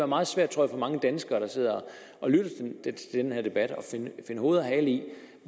meget svært for mange danskere der sidder og lytter til den her debat at finde hoved og hale i